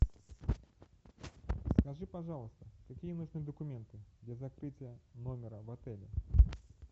скажи пожалуйста какие нужны документы для закрытия номера в отеле